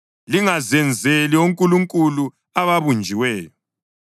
Lingazenzeli onkulunkulu ababunjiweyo.